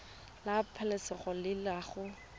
la pabalesego le loago e